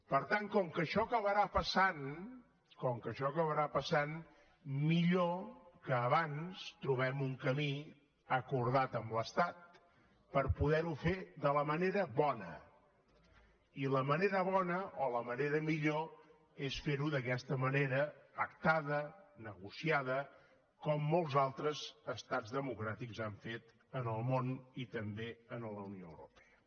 per tant com que això acabarà passant com que això acabarà passant millor que abans trobem un camí acordat amb l’estat per poderho fer de la manera bona i la manera bona o la manera millor és ferho d’aquesta manera pactada negociada com molts altres estats democràtics han fet en el món i també en la unió europea